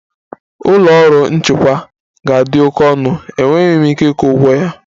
Ụlọ ọrụ nchịkwa ga-adị oke ọnụ, enweghị m ike ịkwụ ụgwọ ya